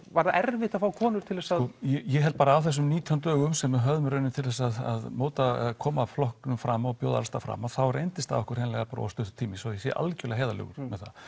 var erfitt að fá konur til þess að ég held bara á þessum nítján dögum sem við höfðum í raun til að móta eða koma flokknum fram og bjóða alls staðar fram að þá reyndist það okkur hreinlega of stuttur tími svo ég sé algjörlega heiðarlegur með það